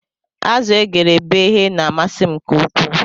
Azu egere beghe na amasi m nke ukwuu